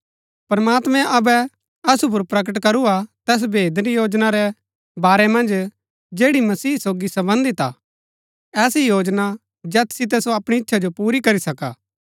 प्रमात्मैं अबै असु पुर प्रकट करू हा तैस भेद री योजना रै बारै मन्ज जैड़ी मसीह सोगी सम्बन्धित हा ऐसी योजना जैत सितै सो अपणी इच्छा जो पुरी करी सका